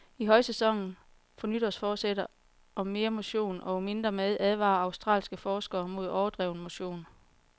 I højsæsonen for nytårsforsætter om mere motion og mindre mad advarer australske forskere mod overdreven motion.